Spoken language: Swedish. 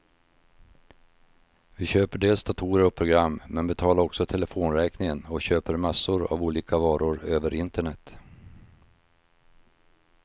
Vi köper dels datorer och program, men betalar också telefonräkningen och köper massor av olika varor över internet.